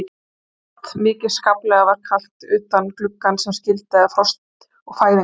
Og kalt, mikið óskaplega var kalt utan gluggans sem skildi að frost og fæðingu.